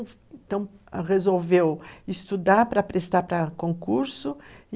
Então, resolveu estudar para prestar para concurso.